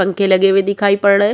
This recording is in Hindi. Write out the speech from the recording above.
पंखे लगे हुए दिखाई पड़ रहे हैं।